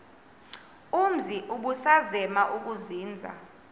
umzi ubusazema ukuzinza